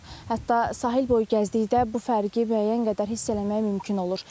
Hətta sahil boyu gəzdikdə bu fərqi müəyyən qədər hiss eləmək mümkün olur.